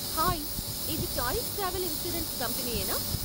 Hi, ఇది choice travel insurance కంపనీయేనా ?